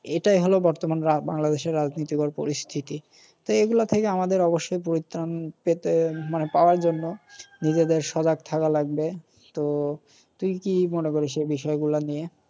এটাই হল বাংলাদেশের বর্তমান রাজনীতি-এর পরিস্থিতি। তো এইগুলা থেকে আমাদের অবশ্যই পরিত্রান পেতে মানে পাওয়ার জন্য নিজেদের সজাগ থাকা লাগবে। তো তুই কি মনে করিস এই বিষয়গুলা নিয়ে?